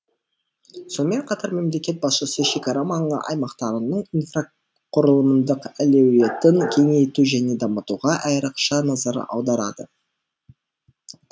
сонымен қатар мемлекет басшысы шекара маңы аймақтарының инфрақұрылымдық әлеуетін кеңейту және дамытуға айрықша назар аударады